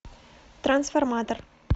трансформатор